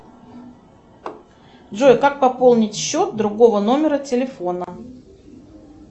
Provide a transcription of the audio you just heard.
джой как пополнить счет другого номера телефона